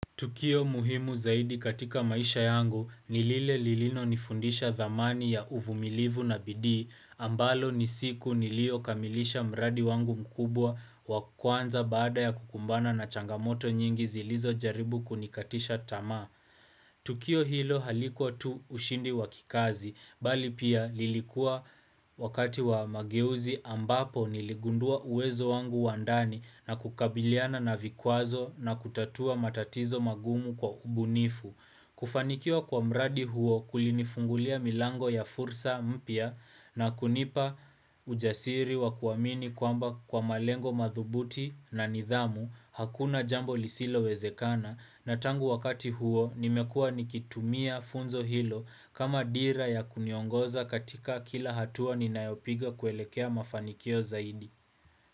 Tukio muhimu zaidi katika maisha yangu nilile lilino nifundisha dhamani ya uvumilivu na bidii ambalo nisiku nilio kamilisha mradi wangu mkubwa wakuanza baada ya kukumbana na changamoto nyingi zilizo jaribu kunikatisha tama. Tukio hilo halikuwa tu ushindi wakikazi, bali pia lilikuwa wakati wa mageuzi ambapo niligundua uwezo wangu wandani na kukabiliana na vikwazo na kutatua matatizo magumu kwa ubunifu. Kufanikiwa kwa mradi huo kulini fungulia milango ya fursa mpia na kunipa ujasiri wa kuwamini kwamba kwa malengo madhubuti na nidhamu hakuna jambo lisilo wezekana na tangu wakati huo nimekua nikitumia funzo hilo kama dira ya kuniongoza katika kila hatua ninayopiga kuelekea mafanikio zaidi.